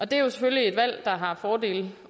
det er jo selvfølgelig et valg der har fordele